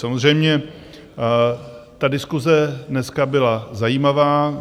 Samozřejmě ta diskuse dneska byla zajímavá.